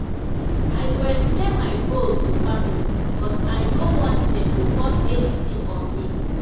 i go explain my goals to family but i no want dem to force anything on me.